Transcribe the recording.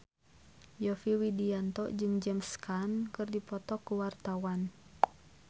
Yovie Widianto jeung James Caan keur dipoto ku wartawan